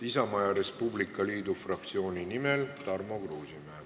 Isamaa ja Res Publica Liidu fraktsiooni nimel Tarmo Kruusimäe.